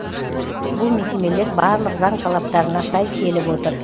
бұл мекемелер барлық заң талаптарына сай келіп отыр